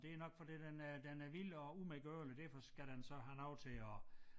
Det nok fordi den er den er vild og umedgørlig derfor skal den så have noget til at